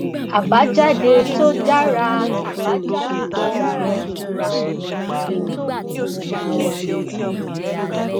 àbájáde tó dára àbájáde tó dára jù lọèyí tó burú jùlọ